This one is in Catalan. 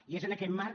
i és en aquest marc